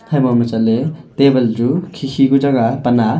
habo ma chatley table chu khi khi ku chang a pan a.